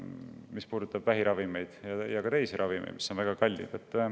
See puudutab vähiravimeid ja ka teisi ravimeid, mis on väga kallid.